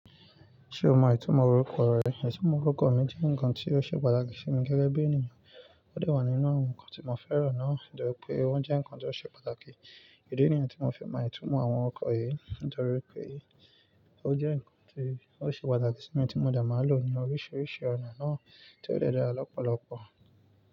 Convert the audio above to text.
Ṣé o mọ ìtumọ̀ orúkọ rẹ? Ìtumọ̀ orúkọ mi jẹ́ ǹkan tí ó ṣe pàtàkì fún mi gẹ́gẹ́ bí ènìyàn. Ó de wà nínú àwọn ǹkan tí mo fẹ́ràn náà, torí pé ó jẹ́ ǹkan tó ṣe pàtàkì. Èyí ni idí tí mo fi mọ ìtumọ̀ àwọn orúkọ yìí, nítorí pé ó jẹ́ ǹkan tí ó ṣe pàtàkì sí mi tí mo de máa lò ní oríṣiríṣi ọ̀nà náà tí ó dẹ́ dara lọ́pọ̀lọpọ̀.